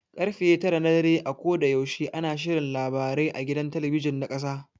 Karfe tara na dare a koda yaushe ana shirin labarai a gidan talabijin ta ƙasa.